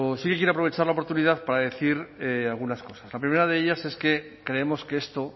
sí quiero aprovechar la oportunidad para decir algunas cosas la primera de ellas es que creemos que esto